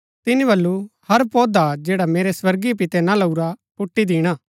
तिनी बल्लू हर पौधा जैडा मेरै स्वर्गीय पिते ना लाऊरा पुट्टी दिणा